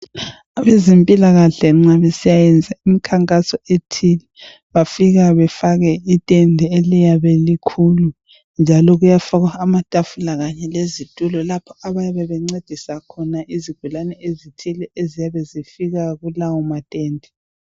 Abezempilakahle nxa besiya yenza imikhankaso ethile, bafika befake itende eliyabe likhulu njalo kuyafakwa amatafula kanye lezitulo lapho abayabe bencedisa khona izigulane ezithile eziyabe zifika kulawo matende.